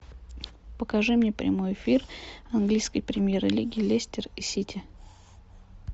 покажи мне прямой эфир английской премьер лиги лестер и сити